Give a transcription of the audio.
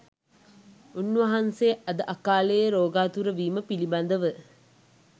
උන්වහන්සේ අද අකාලයේ රෝගාතුර වීම පිළිබඳව